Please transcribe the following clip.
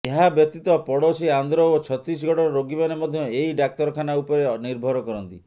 ଏହା ବ୍ୟତୀତ ପଡ଼ୋଶୀ ଆନ୍ଧ୍ର ଓ ଛତିଶଗଡ଼ର ରୋଗୀମାନେ ମଧ୍ୟ ଏହି ଡାକ୍ତରଖାନା ଉପରେ ନିର୍ଭର କରନ୍ତି